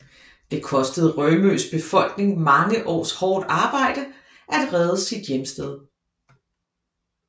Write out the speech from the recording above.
Det kostede Rømøs befolkning mange års hårdt arbejde at redde sit hjemsted